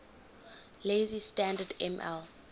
lazy standard ml